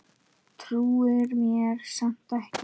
Trúir mér samt ekki.